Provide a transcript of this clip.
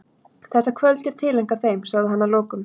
Þetta kvöld er tileinkað þeim, sagði hann að lokum.